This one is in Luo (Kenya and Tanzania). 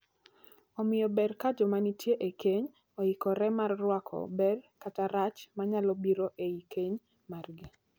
Omiyo ber ka joma nitie e keny oikre mar rwako ber kata rach ma nyalo biro ei keny margi.